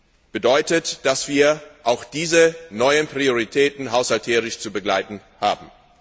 Das bedeutet, dass wir auch diese neuen Prioritäten haushalterisch zu begleiten haben.